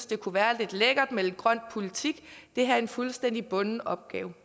det kunne være lidt lækkert med lidt grøn politik det her er en fuldstændig bunden opgave